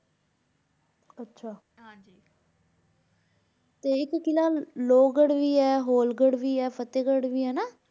ਆਚ ਹਾਂਜੀ ਤੇ ਏਇਕ ਕਿਲਾ ਲੋਵ ਗਢ਼ ਵੀ ਆਯ ਹੋਲ ਗਢ਼ ਵੀ ਆਯ ਫ਼ਤੇਹ ਗਢ਼ ਵੀ ਆਯ ਹੈਨਾ